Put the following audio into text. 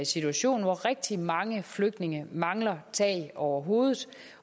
situation hvor rigtig mange flygtninge mangler tag over hovedet